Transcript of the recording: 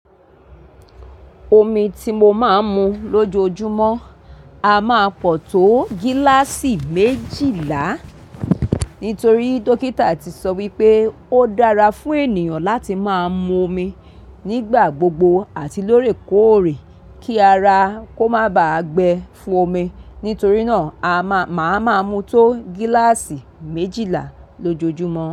Omi ti mo máa ń mu lójoojúmọ́ a máa pọ̀ tó gíláàsì méjìlá, nítorí dókítà ti sọ wípé ó dára fún ènìyàn láti máa mu omi nígbà gbogbo àti lóòrèkóòrè kí ara kó má bà á gbẹ fún omi. Nítorí náà a máa, màá máa mutó gíláàsì méjìlá lójoojúmọ́